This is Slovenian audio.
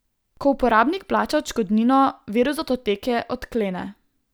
Ko uporabnik plača odškodnino, virus datoteke odklene.